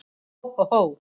Hó, hó, hó!